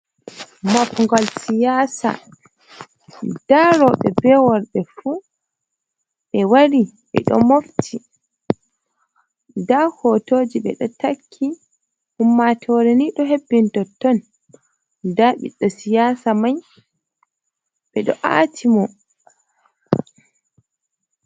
Makgol siyasa, nda robe be worbe fu be wari be do mofti. Nda hotoji be do takki. Ummatore ni do hebbini totton da ɓiɗɗo siyasa mai be ɗo aati mo.